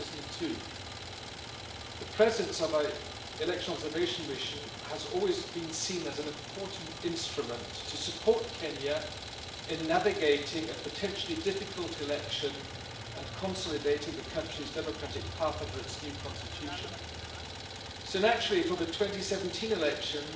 2002. The presence of an election observation mission has always been seen as an important instrument to support Kenya in navigating a potentially difficult election and consolidating the country's democratic path under its new constitution. So naturally for the 2017 elections